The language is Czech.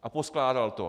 A poskládal to.